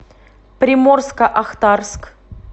приморско ахтарск